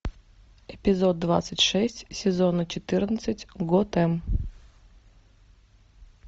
эпизод двадцать шесть сезона четырнадцать готэм